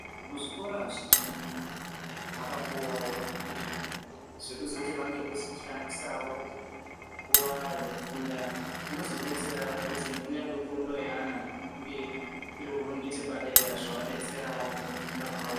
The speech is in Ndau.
Muzvikora zvizhinji vakapuwawo izvo zvekuzoti vange veizoshandisawo nguwa yekufunda zvinozodetsera kuti kunyange fundo yaana inge iriwo ngechepadera zvinoadetserawo mukufunda kwawo.